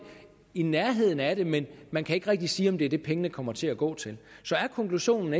i nærheden af det men man kan ikke rigtigt sige at det er det penge kommer til at gå til er konklusionen